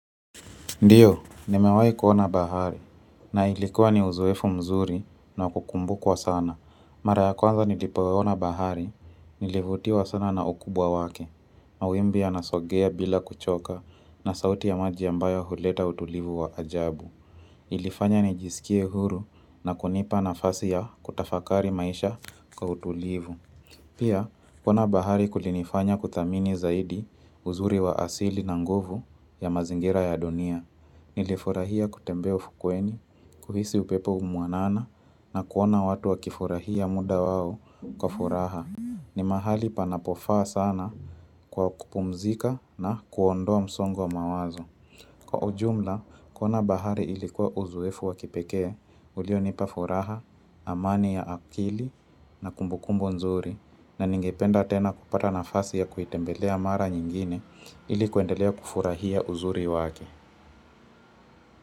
Ndio, nimewai kuona bahari, na ilikuwa ni uzoefu mzuri na wa kukumbukwa sana. Mara ya kwanza nilipoona bahari, nilivutiwa sana na ukubwa wake. Mawimbi ya nasogea bila kuchoka na sauti ya maji ambayo huleta utulivu wa ajabu. Ilifanya nijiskie huru na kunipa na fasi ya kutafakari maisha kwa utulivu. Pia, kuona bahari kulinifanya kuthamini zaidi uzuri wa asili na nguvu ya mazingira ya dunia. Nilifurahia kutembea ufukweni, kuhisi upepo umwanana na kuona watu wakifurahia muda wao kwa furaha. Ni mahali panapofaa sana kwa kupumzika na kuondoa msongo wa mawazo. Kwa ujumla, kuona bahari ilikuwa uzoefu wakipekee, ulio nipafuraha, amani ya akili na kumbukumbu nzuri na ningependa tena kupata na fasi ya kuitembelea mara nyingine ilikuendelea kufurahia uzuri wake.